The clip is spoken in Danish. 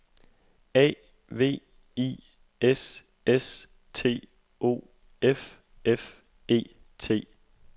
A V I S S T O F F E T